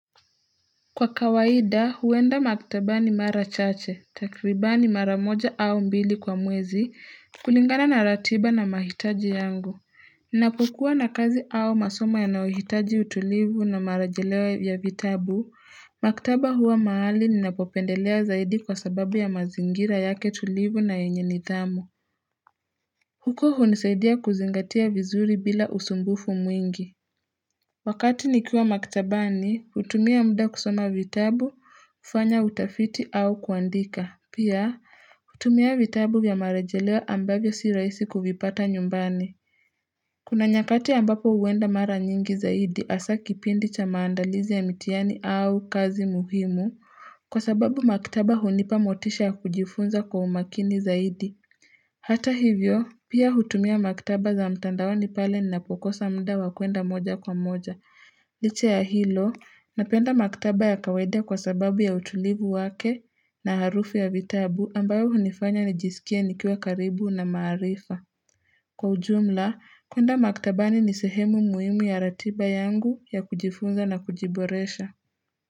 Kwa kawaida huenda maktabani mara chache takriba ni mara moja au mbili kwa mwezi kulingana na ratiba na mahitaji yangu ninapokuwa na kazi au masoma ya nayohitaji utulivu na marajeleyo ya vitabu maktaba huwa mahali ninapopendelea zaidi kwa sababu ya mazingira yake tulivu na yenye nithamu huko hunisaidia kuzingatia vizuri bila usumbufu mwingi Wakati nikiwa maktabani, hutumia muda kusoma vitabu, kufanya utafiti au kuandika. Pia, hutumia vitabu vya marejelewa ambavyo si rahisi kuvipata nyumbani. Kuna nyakati ambapo huenda mara nyingi zaidi hasa kipindi cha maandalizi ya mitihani au kazi muhimu kwa sababu maktaba hunipa motisha ya kujifunza kwa umakini zaidi. Hata hivyo, pia hutumia maktaba za mtandaoni pale ninapokosa muda wakuenda moja kwa moja. Licha ya hilo, napenda maktaba ya kawaida kwa sababu ya utulivu wake na harufu ya vitabu ambayo hunifanya nijisikie nikiwa karibu na maarifa. Kwa ujumla, kuenda maktabani nisehemu muhimu ya ratiba yangu ya kujifunza na kujiboresha.